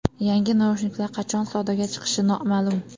Yangi naushniklar qachon savdoga chiqishi noma’lum.